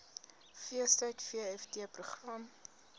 feestyd vft program